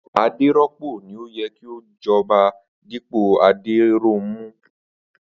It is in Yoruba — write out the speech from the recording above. Adéró̩pò ni ó ye̩ kí ó jo̩ba dípò Adéróunmú